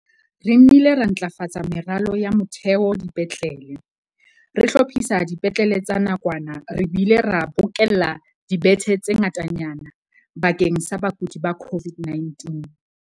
Re nnile ra ntlafatsa meralo ya motheo dipetlele, re hlophisa dipetlele tsa nakwana re bile re bokella dibethe tse ngatanyana bakeng sa bakudi ba COVID-19.